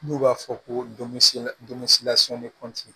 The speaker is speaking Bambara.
N'u b'a fɔ ko